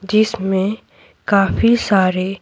जिसमें काफी सारे --